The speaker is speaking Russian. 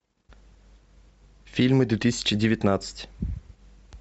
фильмы две тысячи девятнадцать